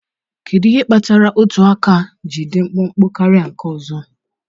Kedu ihe kpatara otu aka gị ji dị mkpụmkpụ karịa nke ọzọ?